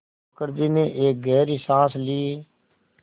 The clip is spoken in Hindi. मुखर्जी ने एक गहरी साँस ली